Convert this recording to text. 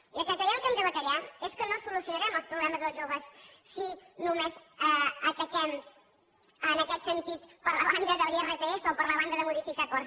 i el que creiem que hem de batallar és que no solucionarem els problemes del joves si només ataquem en aquest sentit per la banda de l’irpf o per la banda de modificar acords